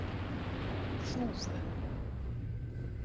Þúfu